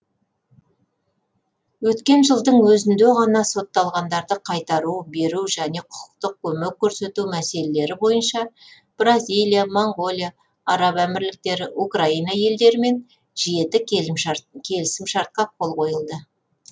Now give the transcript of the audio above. өткен жылдың өзінде ғана сотталғандарды қайтару беру және құқықтық көмек көрсету мәселелері бойынша бразилия моңғолия араб әмірліктері украина елдерімен жеті келісім шартқа қол қойылды